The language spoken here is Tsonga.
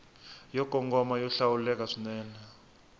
yo kongoma yo hlawuleka swinene